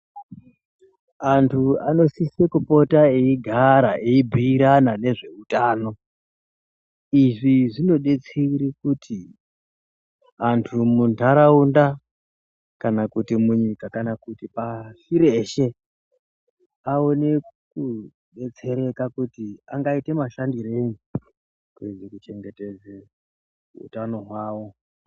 Antu anosise kupota eigara eibhiirana nezveutano izvi zvinodetsere kuti antu muntaraunda kana kuti munyika kana kuti pashi reshe aone kudetsereka kuti angaite mashandirei kuedze kuchengetedze utano hwawo.